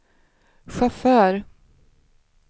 chaufför